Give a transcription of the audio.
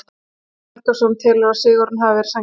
Jóhann Helgason telur að sigurinn hafi verið sanngjarn.